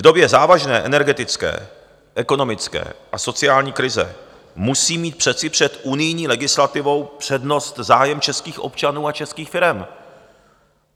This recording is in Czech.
V době závažné energetické, ekonomické a sociální krize musí mít přece před unijní legislativou přednost zájem českých občanů a českých firem.